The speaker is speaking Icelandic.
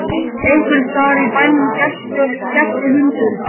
Einhvers staðar í bænum gelti hundur.